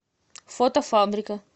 фото фабрика